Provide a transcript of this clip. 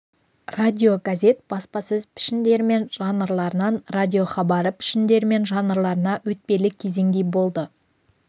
радиогазет баспасөз пішіндері мен жанрларынан радиохабары пішіндері мен жанрларына өтпелі кезеңдей болды